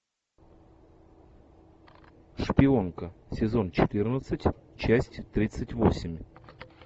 шпионка сезон четырнадцать часть тридцать восемь